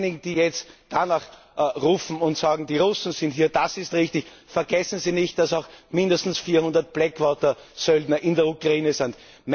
Diejenigen, die jetzt danach rufen und sagen, die Russen sind hier, das ist richtig Vergessen Sie nicht, dass auch mindestens 400 Blackwater Söldner in der Ukraine sind.